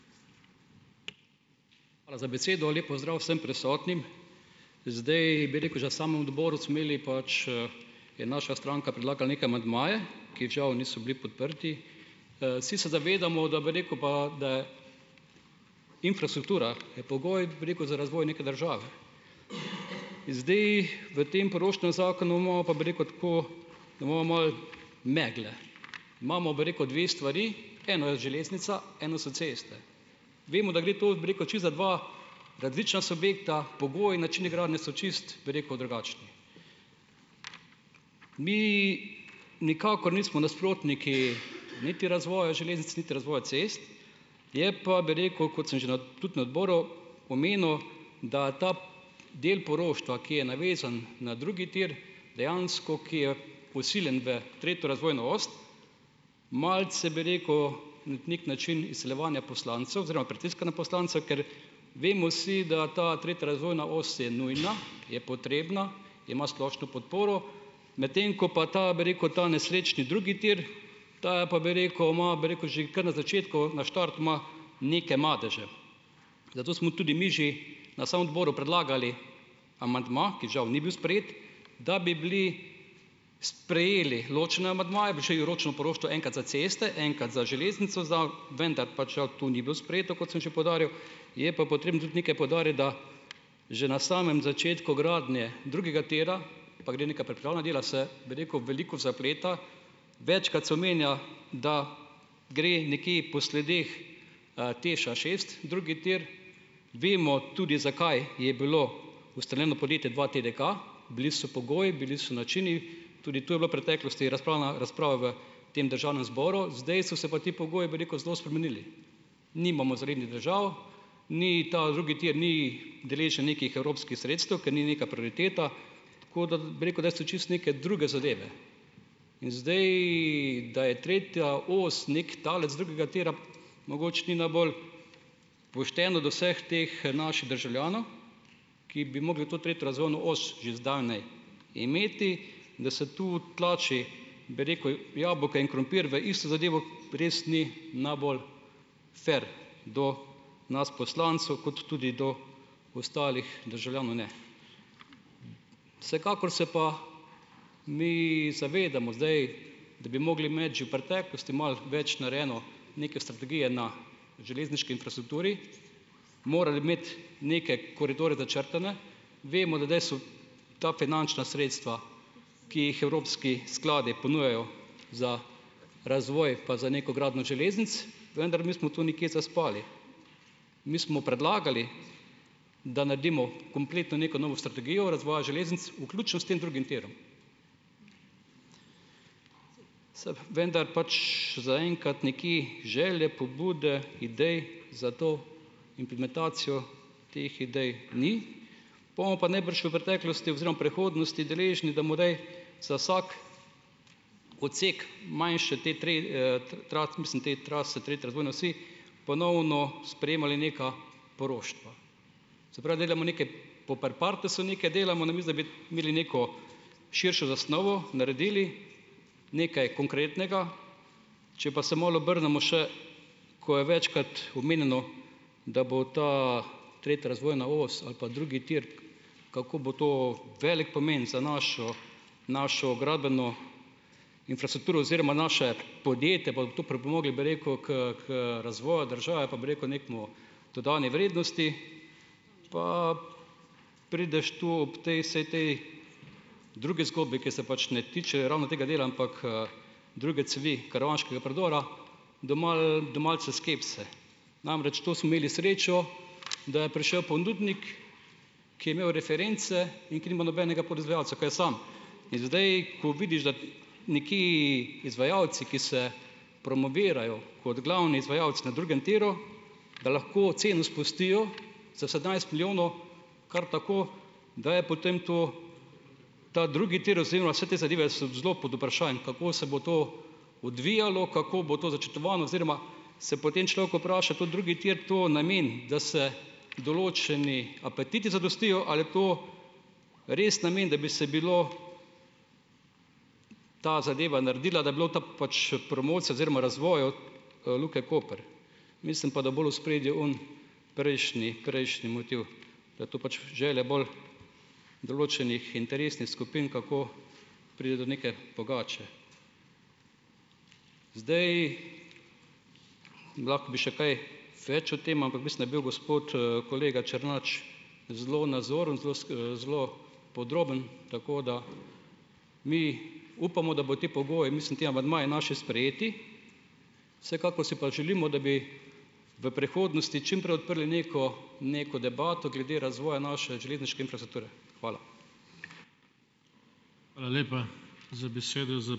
Hvala za besedo. Lep pozdrav vsem prisotnim! Zdaj bi rekel, že na samem odboru smo imeli pač, je naša stranka predlagala neke amandmaje, ki žal niso bili podprti. Vsi se zavedamo, da bi rekel pa infrastruktura je pogoj, bi rekel, za razvoj neke države. In zdaj v tem poroštvenem zakonu imamo pa, bi rekel, tako, da imamo malo megle. Imamo, bi rekel, dve stvari, eno je železnica, eno so ceste. Vemo, da gre to, bi rekel, čisto za dva različna subjekta, pogoji, načini gradnje so čisto, bi rekel, drugačni. Mii nikakor nismo nasprotniki niti razvoja železnic niti razvoja cest, je pa, bi rekel, kot sem že na tudi na odboru omenil, da ta del poroštva, ki je navezan na drugi tir, dejansko, ki je vsiljen v tretjo razvojno os, malce, bi rekel, na neki način izsiljevanja poslancev oziroma pritiska na poslance, ker vemo vsi, da ta tretja razvojna os je nujna, je potrebna, ima splošno podporo, medtem ko pa ta, bi rekel, ta nesrečni drugi tir, ta pa, bi rekel, ima, bi rekel, že kar na začetku na štartu ima neke madeže. Zato smo tudi mi že na samo odboru predlagali amandma, ki žal ni bil sprejet, da bi bili sprejeli ločene amandmaje, bi šli na ročno poroštvo enkrat za ceste, enkrat za železnico za, vendar pač žal tu ni bilo sprejeto, kot sem že poudaril. Je pa potrebno tudi nekaj poudariti, da že na samem začetku gradnje drugega tira pa gre neka pripravna dela se, bi rekel, veliko zapleta. Večkrat se omenja, da gre neke po sledeh TEŠ-a šest drugi tir. Vemo tudi, zakaj je bilo ustaljeno podjetje dva TDK, bili so pogoji, bili so načini, tudi to je bila preteklosti razprava v tem državnem zboru, zdaj so se pa ti pogoji, bi rekel, zelo spremenili. Nimamo zalednih držav, ni ta drugi tir ni deležen nekih evropskih sredstev, ker ni neka prioriteta, tako da, bi rekel, da so čisto neke druge zadeve. In zdaj, da je tretja os neki talec drugega tira, mogoče ni najbolj pošteno do vseh teh naših državljanov, ki bi mogli to tretjo razvojno os že zdavnaj imeti, da se to tlači bi rekel jabolka in krompir v isto zadevo, res ni najbolj fer do nas poslancev kot tudi do ostalih državljanov ne. Vsekakor se pa mi zavedamo zdaj, da bi mogli imeti že v preteklosti malo več narejeno, neke strategije na železniški infrastrukturi. Moral bi imeti neke koridorje začrtane. Vemo, ta finančna sredstva, ki jih evropski skladi ponujajo za razvoj pa za neko gradnjo železnic, vendar mi smo tu nekje zaspali. Mi smo predlagali, da naredimo kompletno neko novo strategijo razvoja železnic, vključno s tem drugim tirom, vendar pač zaenkrat nekje želje, pobude idej za to implementacijo teh idej ni, bomo pa najbrž v preteklosti oziroma prihodnosti deležni, da morajo za vsak odsek manjše te mislim, te trase tretje razvojne osi ponovno sprejemali neka poroštva. Se pravi, delamo neke po per partesu neke delamo, namesto da bi imeli neko širšo zasnovo, naredili nekaj konkretnega, če pa se malo obrnemo še, ko je večkrat omenjeno, da bo ta tretja razvojna os ali pa drugi tir, kako bo to velik pomen za našo našo gradbeno infrastrukturo oziroma naše podjetje, to pripomoglo, bi rekel, k k razvoju države pa, bi rekel, k neki dodani vrednosti, pa prideš tu, ob tej, vsej tej, drugi zgodbi, ki se pač ne tiče ravno tega dela, ampak, druge cevi Karavanškega predora, do malce skepse. Namreč, to smo imeli srečo, da je prišel ponudnik, ki je imel reference in ki ni imel nobenega proizvajalca, ko je sam, in zdaj, ko vidiš, da nekaj izvajalci, ki se promovirajo kot glavni izvajalec na drugem tiru, da lahko ceno spustijo za sedemnajst milijonov, kar tako, da je potem to, ta drugi tir oziroma vse te zadeve, so zelo pod vprašajem, kako se bo to odvijalo, kako bo to začrtovano, oziroma se potem človek vpraša, tudi drugi tir, to namen, da se določeni apetiti zadostijo, ali je to res namen, da bi se bilo, ta zadeva naredila, da bi bilo to pač, promocija oziroma razvoj od, Luke Koper, mislim pa, da bolj v ospredju oni, prejšnji prejšnji motiv, da je to pač želja bolj določenih interesnih skupin, kako priti do neke pogače. Zdaj, lahko bi še kaj več o tem, ampak mislim, da je bil gospod, kolega Černač, zelo nazoren, zelo zelo podroben, tako da, mi upamo, da bojo ti pogoji, mislim, ti amandmaji, naši, sprejeti, vsekakor si pa želimo, da bi v prihodnosti čim prej odprli neko neko debato glede razvoja naše železniške infrastrukture. Hvala.